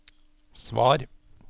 svar